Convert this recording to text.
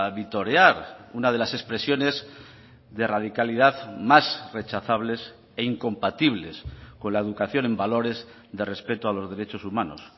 vitorear una de las expresiones de radicalidad más rechazables e incompatibles con la educación en valores de respeto a los derechos humanos